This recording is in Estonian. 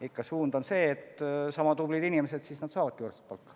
Ikka suund on see, et sama tublid inimesed saavad võrdset palka.